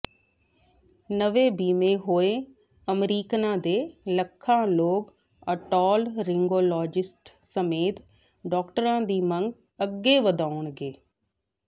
ਨਵੇਂ ਬੀਮੇ ਹੋਏ ਅਮਰੀਕਨਾਂ ਦੇ ਲੱਖਾਂ ਲੋਕ ਓਟੋਲਰੀਨਗੋਲੋਜਿਸਟਸ ਸਮੇਤ ਡਾਕਟਰਾਂ ਦੀ ਮੰਗ ਅੱਗੇ ਵਧਾਉਣਗੇ